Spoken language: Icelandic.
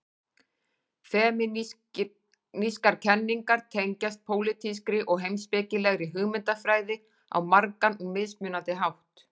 Femínískar kenningar tengjast pólitískri og heimspekilegri hugmyndafræði á margan og mismunandi hátt.